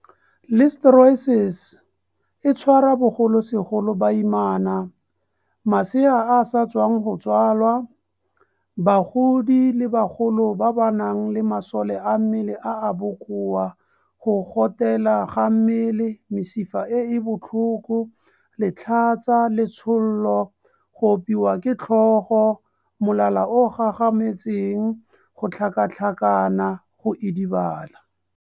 Listeriosis e tshwara bogolosegolo baimana, masea a a sa tswang go tsalwa, bagodi le bagolo ba ba nang le masole a mmele a a bokoa go gotela ga mmele, mesifa e e botlhoko, letlhatsa, letshollo, go opiwa ke tlhogo, molala o o gagametseng, go tlhakatlhakana, go idibala